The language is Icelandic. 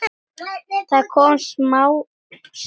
Það kom smám saman.